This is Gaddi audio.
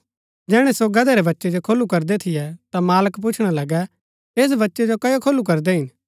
जैहणै सो गदहै रै बच्चै जो खोलू करदै थियै ता मालक पुछणा लगै ऐस बच्चै जो कओ खोलू करदै हिन